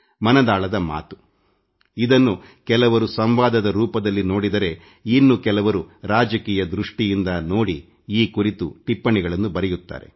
ಮನದಾಳದ ಮಾತು ಇದನ್ನು ಕೆಲವರು ಸಂವಾದದ ರೂಪದಲ್ಲಿ ನೋಡಿದರೆ ಇನ್ನು ಕೆಲವರು ರಾಜಕೀಯ ದೃಷ್ಟಿಯಿಂದ ಟೀಕಿಸುತ್ತಾರೆ ಈ ಕುರಿತು ಟಿಪ್ಪಣಿಗಳನ್ನೂ ಬರೆಯುತ್ತಾರೆ